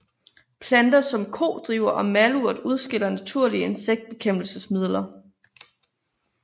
Planter som kodriver og malurt udskiller naturlige insektbekæmpelsesmidler